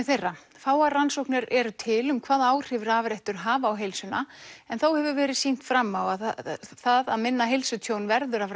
þeirra fáar rannsóknir eru til um hvaða áhrif rafrettur hafa á heilsuna en þó hefur verið sýnt fram á það að minna heilsutjón verður af